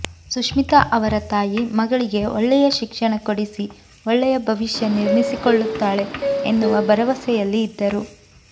ಸುಶ್ಮಿತಾ ಅವರ ತಾಯಿ ಮಗಳಿಗೆ ಒಳ್ಳೆಯ ಶಿಕ್ಷಣ ಕೊಡಿಸಿ ಒಳ್ಳೆಯ ಭವಿಷ್ಯ ನಿರ್ಮಿಸಿಕೊಳ್ಳುತ್ತಾಳೆ ಎನ್ನುವ ಭರವಸೆಯಲ್ಲಿ ಇದ್ದರು